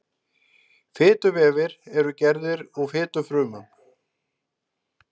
Fituvefir eru gerðir úr fitufrumum.